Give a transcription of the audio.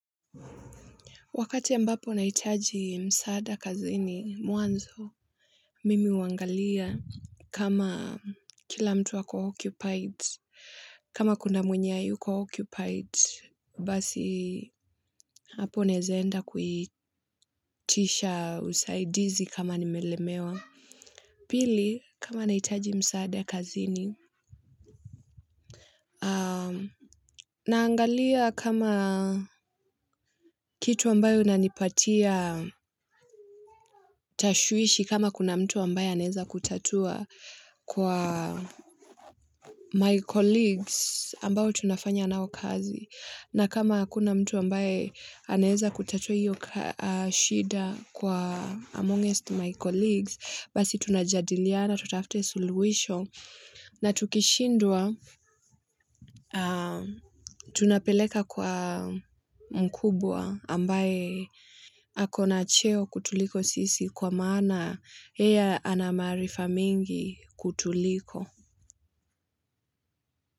Wakati ambapo nahitaji msaada kazini, mwanzo, mimi huangalia kama kila mtu ako occupied, kama kuna mwenye hayuko occupied, basi hapo naeza enda kuitisha usaidizi kama nimelemewa. Pili, kama nahitaji msaada kazini, naangalia kama kitu ambayo inanipatia tashwishi kama kuna mtu ambaye anaweza kutatua kwa my colleagues ambayo tunafanya nao kazi. Na kama hakuna mtu ambaye anaweza kutatua hiyo shida kwa Amongest My Colleagues, basi tunajadiliana tutafute suluhisho na tukishindwa tunapeleka kwa mkubwa ambaye akona cheo kutuliko sisi kwa maana yeye ana maarifa mingi kutuliko.